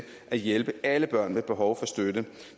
at hjælpe alle børn med behov for støtte